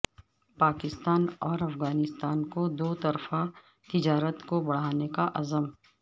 پاکستان اور افغانستان کا دوطرفہ تجارت کو بڑھانے کا عزم